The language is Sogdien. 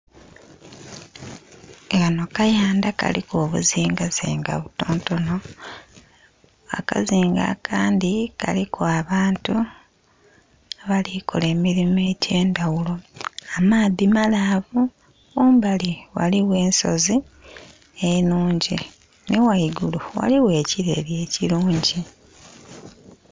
Kano kayandha kaliku obuzinga zinga butontono, akazinga akandhi kaliku abantu abali kola emirimo egye ndhaghulo. Amaadhi malaavu, kumbali ghaligho ensozi enhungi nhi ghaigulu ghaligho ekireeri ekirungi.